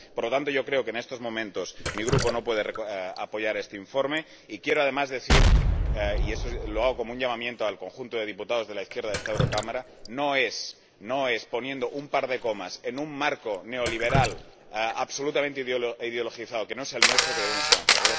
Por lo tanto, yo creo que, en estos momentos, mi Grupo no puede apoyar este informe y quiero, además, decir —y esto lo hago como un llamamiento al conjunto de diputados de la izquierda de este Parlamento— que no es poniendo un par de comas en un marco neoliberal absolutamente ideologizado, que no es el nuestro, como debemos avanzar.